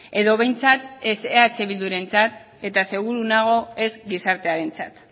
edo behintzat ez eh bildurentzat eta seguru nago ez gizartearentzat